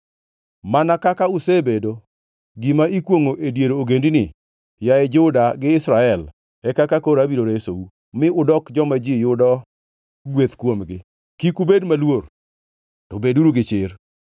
Mana kaka usebedo gima ikwongʼo e dier ogendini, yaye Juda gi Israel, e kaka koro abiro resou, mi udok joma ji yudo gweth kuomgi. Kik ubed maluor, to beduru gi chir.”